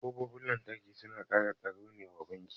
Kofofin lantarki suna kara tsaro ne wa banki